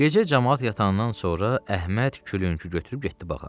Gecə camaat yatandan sonra Əhməd külüngü götürüb getdi bağa.